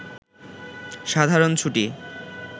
সাধারণ ছুটি